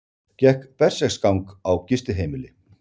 Gekk berserksgang á gistiheimili